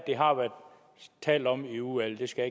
har været talt om i udvalget det skal